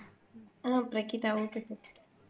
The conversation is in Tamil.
ஆஹ் பிரகிதா ஒகே பிரகிதா